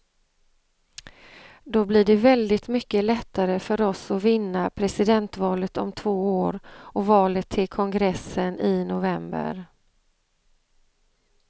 Då blir det väldigt mycket lättare för oss att vinna presidentvalet om två år och valet till kongressen i november.